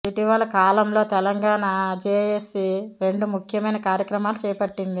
ఇటీవల కాలంలో తెలంగాణ జెఎసి రెండు ముఖ్యమైన కార్యక్రమాలు చేపట్టింది